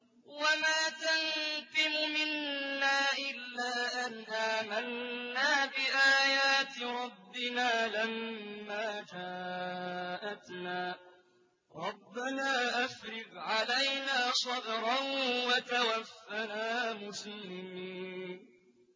وَمَا تَنقِمُ مِنَّا إِلَّا أَنْ آمَنَّا بِآيَاتِ رَبِّنَا لَمَّا جَاءَتْنَا ۚ رَبَّنَا أَفْرِغْ عَلَيْنَا صَبْرًا وَتَوَفَّنَا مُسْلِمِينَ